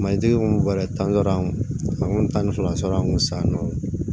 Matigi yɛrɛ tan dɔrɔn a kun tan ni fila sɔrɔ an kun sa nɔ